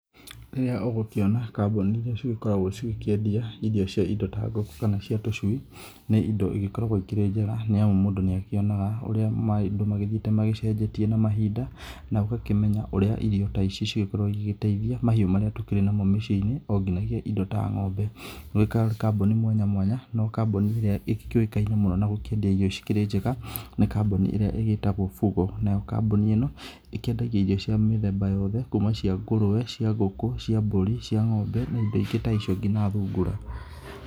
Rĩrĩa ũgũkĩona kambuni iria cigĩkoragwo cigĩkĩendia irio cia indo ta ngũkũ kana cia tũcui, nĩ indo igĩkoragwo ikĩrĩ njega nĩ amu mũndũ nĩ akĩonaga ũrĩa maũndũ marathiĩ magĩcenjetie na mahinda, na ũgakĩmenya ũrĩa irio ta ici cigĩkoragwo cigĩgĩteithia mahiũ marĩa tũkĩrĩ namo mĩciĩ-inĩ onginyagia indo ta ng'ombe. Gwĩ kambuni mwanya mwanya no kambuni ĩrĩa ĩgĩkĩũkaine mũno na gũkĩendia irio cikĩrĩ njega nĩ kambuni ĩrĩa ĩgĩtagwo Fugo. Nayo kambuni ĩno ikĩendagia irio cia mĩthemba yothe kuma cia ngũkũ cia ngũrwe cia mbũri cia ng'ombe na indo ingĩ ta icio ngina thungura.